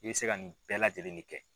I bɛ se ka nin bɛɛ lajɛlen ne kɛ.